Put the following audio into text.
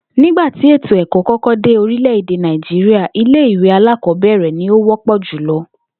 Nígbà tí ètò è̩kó̩ kó̩kó̩ dé orílè̩-èdè Nàìjíríà, ilé ìwé alákò̩ó̩bè̩rè̩ ni ó wó̩pò̩ jùlo̩